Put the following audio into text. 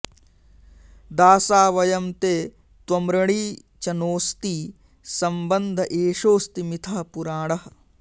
दासा वयं ते त्वमृणी च नोऽस्ति संबन्ध एषोऽस्ति मिथः पुराणः